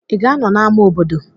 Ị ga-anọ na ama obodo?